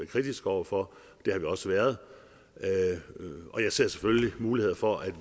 kritisk over for det har vi også været og jeg ser selvfølgelig muligheder for at